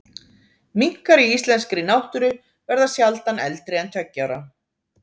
Minkar í íslenskri náttúru verða sjaldan eldri en tveggja ára.